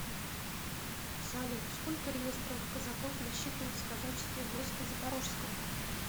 салют сколько реестровых казаков насчитывалось в казачестве войска запорожского